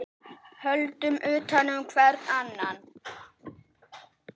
Höldum utan um hvert annað.